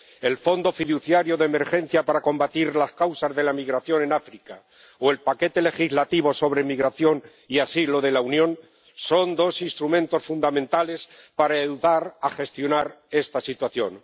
El Fondo Fiduciario de Emergencia para combatir las causas de la migración en África o el paquete legislativo sobre migración y asilo de la Unión son dos instrumentos fundamentales para ayudar a gestionar esta situación.